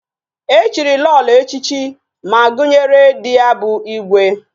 Echiri Lolo echichi, ma gunyere di ya bu igwe